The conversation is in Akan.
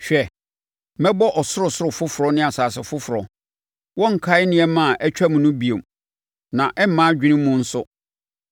“Hwɛ! Mɛbɔ ɔsorosoro foforɔ ne asase foforɔ. Wɔrenkae nneɛma a atwam no bio, na ɛremma adwene mu nso.